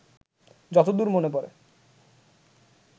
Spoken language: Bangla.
যত দূর মনে পড়ে